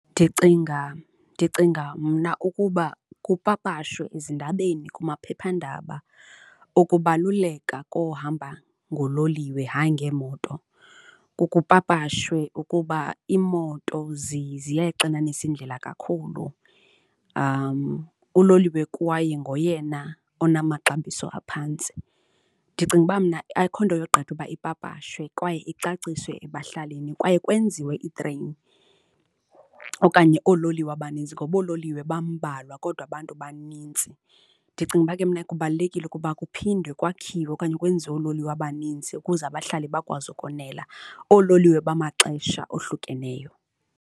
Ndicinga, ndicinga mna ukuba kupapashwe ezindabeni kumaphephandaba ukubaluleka kokuhamba ngololiwe, hayi ngeemoto. Kupapashwe ukuba imoto ziyayixinanisa indlela kakhulu uloliwe kwaye ngoyena onamaxabiso aphantsi. Ndicinga uba mna akho nto yogqitha uba ipapashwe kwaye icaciswe ebahlalini kwaye kwenziwe itreyini okanye oololiwe abanintsi ngoba oololiwe bambalwa kodwa abantu banintsi. Ndicinga uba ke mna kubalulekile ukuba kuphindwe kwakhiwe okanye kwenziwe oololiwe abanintsi ukuze abahlali bakwazi ukonela, oololiwe bamaxesha ohlukeneyo.